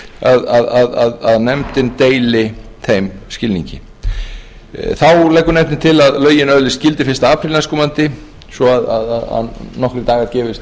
greinargerð að nefndin deili þeim skilningi þá leggur nefndin til að lögin öðlist gildi fyrsta apríl næstkomandi svo að nokkrir dagar gefist